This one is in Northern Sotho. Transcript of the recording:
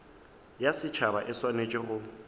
ya setšhaba e swanetše go